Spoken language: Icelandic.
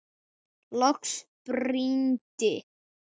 Loks brýndi